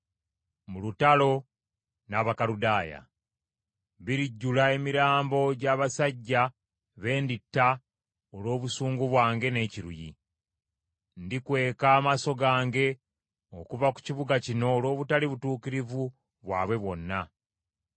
mu lutalo n’Abakaludaaya. ‘Birijjula emirambo gy’abasajja be nditta olw’obusungu bwange n’ekiruyi. Ndikweka amaaso gange okuva ku kibuga kino olw’obutali butuukirivu bwabwe bwonna.